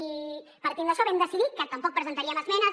i partint d’això vam decidir que tampoc presentaríem esmenes